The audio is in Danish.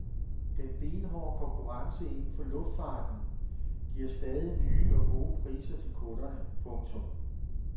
Den benhårde konkurrence inden for luftfarten giver stadig nye og gode priser til kunderne. punktum